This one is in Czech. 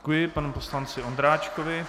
Děkuji panu poslanci Ondráčkovi.